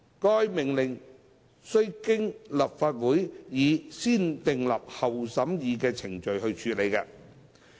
該命令須經立法會以先訂立後審議的程序處理。